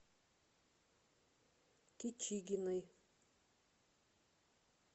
кичигиной